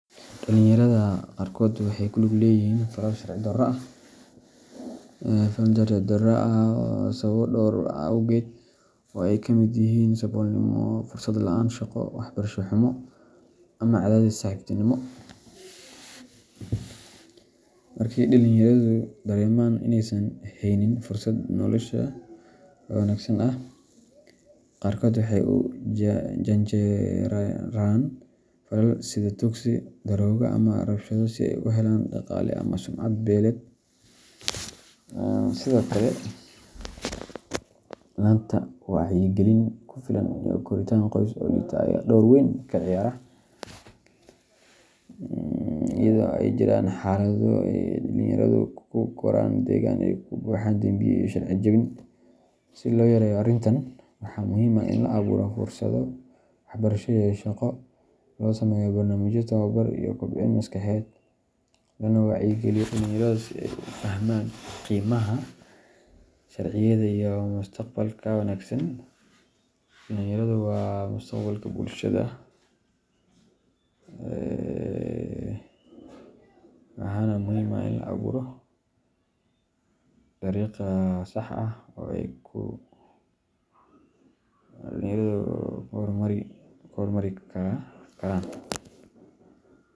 Dhalinyarada qaarkood waxay ku lug leeyihiin falal sharci darro ah sababo dhowr ah awgood, oo ay ka mid yihiin saboolnimo, fursad la’aan shaqo, waxbarasho xumo, ama cadaadis saaxiibtinimo. Marka ay dhalinyaradu dareemaan inaysan haynin fursado nolosha wanaagsan ah, qaarkood waxay u janjeeraan falal sida tuugsi, daroogo, ama rabshado si ay u helaan dhaqaale ama sumcad beeleed. Sidoo kale, la’aanta wacyigelin ku filan iyo koritaan qoys oo liita ayaa door weyn ka ciyaara, iyadoo ay jiraan xaalado ay dhalinyaradu ku koraan deegaan ay ka buuxaan dembiyo iyo sharci jebin. Si loo yareeyo arrintan, waxaa muhiim ah in la abuuro fursado waxbarasho iyo shaqo, loo sameeyo barnaamijyo tababar iyo kobcin maskaxeed, lana wacyigeliyo dhalinyarada si ay u fahmaan qiimaha sharciyada iyo mustaqbalka wanaagsan. Dhalinyaradu waa mustaqbalka bulshada, waxaana muhiim ah in loo abuuro dariiq sax ah oo ay ku horumari karaan.